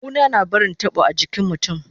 Kuna na barin tabo a jikin mutun